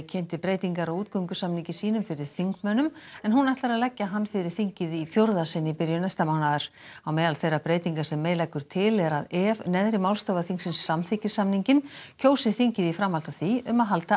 kynnti breytingar á útgöngusamningi sínum fyrir þingmönnum en hún ætlar að leggja hann fyrir þingið í fjórða sinn í byrjun næsta mánaðar á meðal þeirra breytinga sem May leggur til er að ef neðri málstofa þingsins samþykkir samninginn kjósi þingið í framhaldi af því um að halda